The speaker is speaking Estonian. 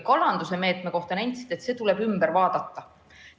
Kalanduse meetme kohta nentisite, et see tuleb üle vaadata.